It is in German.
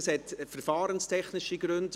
Meine Frage hat verfahrenstechnische Gründe.